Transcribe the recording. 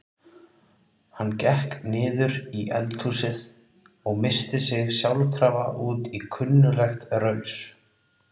Hann gekk niður í eldhúsið og missti sig sjálfkrafa út í kunnuglegt raus.